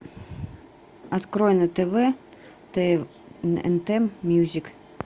открой на тв тнт мьюзик